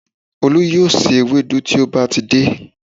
Olú yóò se ewédú tí ó bá ti dé